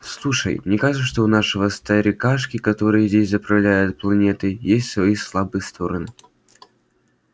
слушай мне кажется что у нашего старикашки который здесь заправляет планетой есть свои слабые стороны